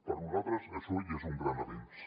per nosaltres això ja és un gran avenç